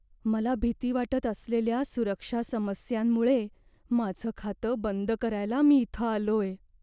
मला भीती वाटत असलेल्या सुरक्षा समस्यांमुळे माझं खातं बंद करायला मी इथं आलोय.